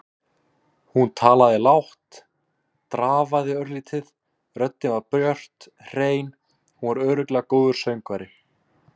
Hún talaði lágt, drafaði örlítið, röddin var björt, hrein- hún var örugglega góður söngvari.